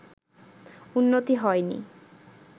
উন্নতি হয়নি